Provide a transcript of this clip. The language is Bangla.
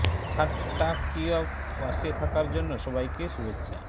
ঠা ট্টা কী য় পাশে থাকার জন্য সবাইকে শুভেচ্ছা